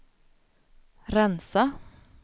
rensa